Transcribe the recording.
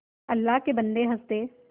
अल्लाह के बन्दे हंस दे